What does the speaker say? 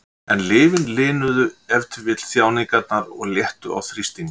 En lyfin linuðu ef til vill þjáningarnar og léttu á þrýstingnum.